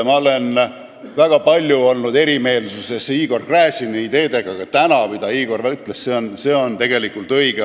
Mul on olnud väga palju erimeelsusi Igor Gräziniga, aga see, mida Igor täna ütles, on tegelikult õige.